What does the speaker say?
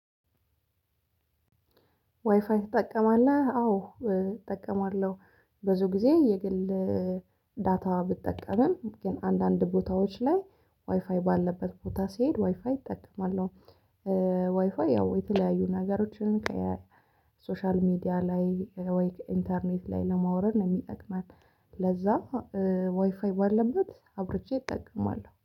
ዋይፋይ ትጠቀማለህ አዎ እጠቀማለሁ። ብዙ ጊዜ የግል ዳታ ብጠቀምም ግን አንዳንድ ቦታዎች ላይ ዋይፋይ ባለበት ቦታ ሲሄድ ዋይፋይ እጠቀማለሁ። ዋይፋይ ያው የተለያዩ ነገሮችን ከሶሻል ሚዲያ ላይ ወይ ኢንተርኔት ላይ ለማውረድ የሚጠቅመን። ለዛ ዋይፋይ ባለበት አብርቼ እጠቀማለሁ